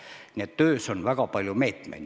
Nii et töös on väga palju meetmeid.